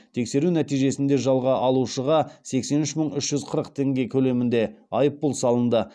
тексеру нәтижесінде жалға алушыға сексен үш мың үш жүз қырық теңге көлемінде айыппұл салынды